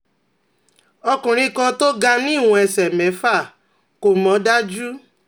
ọkùnrin kan tó ga ni iwon ẹ̀sẹ̀ mẹ́fà, kò mọ̀ daju